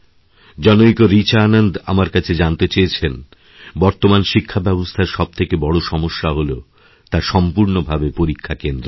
জনৈক রিচা আনন্দ আমার কাছে জানতে চেয়েছেন বর্তমানশিক্ষাব্যবস্থার সবথেকে বড় সমস্যা হল তা সম্পূর্ণভাবে পরীক্ষাকেন্দ্রিক